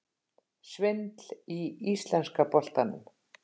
Svindl í íslenska boltanum?